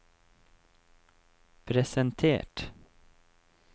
presentert